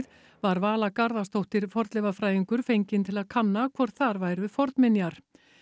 var Vala Garðarsdóttir fornleifafræðingur fengin til að kanna hvort þar væru fornminjar